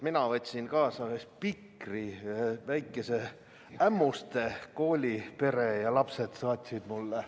Mina võtsin kaasa spikri, väikese Ämmuste kooli pere, sealsed lapsed saatsid mulle.